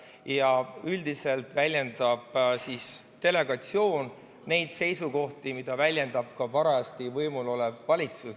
Ja üldiselt väljendab delegatsioon neid seisukohti, mida väljendab ka parajasti võimul olev valitsus.